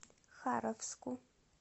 харовску